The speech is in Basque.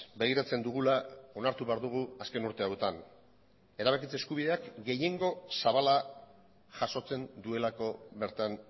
begiratzen dugula onartu behar dugu azken urte hauetan erabakitze eskubideak gehiengo zabala jasotzen duelako bertan